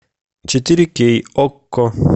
четыре кей окко